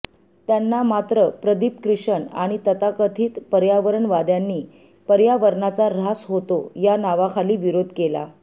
त्यांना मात्र प्रदीप क्रिशन आणि तथाकथित पर्यावरणवाद्यांनी पर्यावरणाचा ऱ्हास होतो या नावाखाली विरोध केला